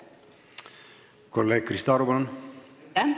Kolleeg Krista Aru, palun!